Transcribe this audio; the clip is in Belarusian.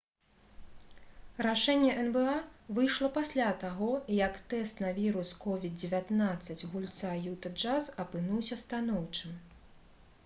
рашэнне нба выйшла пасля таго як тэст на вірус covid-19 гульца «юта джаз» апынуўся станоўчым